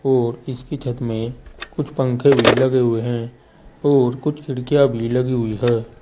और इसकी छत में कुछ पंखे भी लगे हुए हैं और कुछ खिड़कियां भी लगी हुई है।